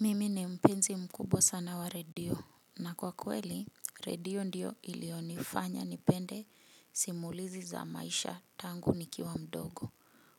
Mimi ni mpenzi mkubwa sana wa radio na kwa kweli radio ndio iliyonifanya nipende simulizi za maisha tangu nikiwa mdogo.